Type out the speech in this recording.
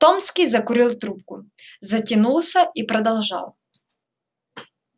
томский закурил трубку затянулся и продолжал